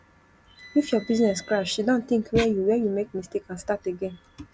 if your business crash siddon tink where you where you make mistake and start again